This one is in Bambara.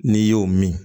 N'i y'o min